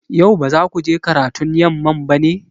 Yau ba za ku je karatun yamma ba ne?